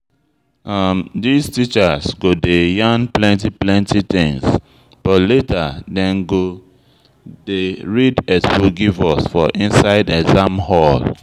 This teachers go dey yan plenty things but later dem go dey read expo give us for inside exam hall